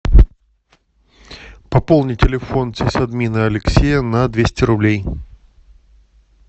пополни телефон сисадмина алексея на двести рублей